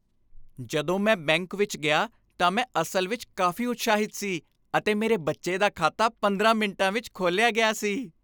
ਜਦੋਂ ਮੈਂ ਬੈਂਕ ਵਿੱਚ ਗਿਆ ਤਾਂ ਮੈਂ ਅਸਲ ਵਿੱਚ ਕਾਫ਼ੀ ਉਤਸ਼ਾਹਿਤ ਸੀ, ਅਤੇ ਮੇਰੇ ਬੱਚੇ ਦਾ ਖਾਤਾ 15 ਮਿੰਟਾਂ ਵਿੱਚ ਖੋਲ੍ਹਿਆ ਗਿਆ ਸੀ।